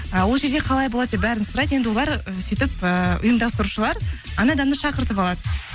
ы ол жерде қалай болады деп бәрін сұрайды енді олар ы сүйтіп ііі ұйымдастырушылар анау адамды шақыртып алады